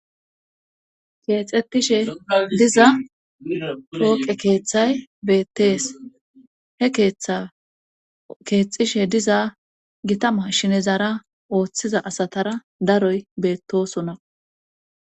Keexettishe diza pooqe keeththay beettees he tkeexishe diza gitama shinezara ooththiza asatara daroy beettosona